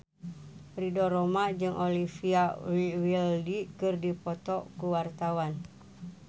Ridho Roma jeung Olivia Wilde keur dipoto ku wartawan